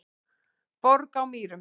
Borg á Mýrum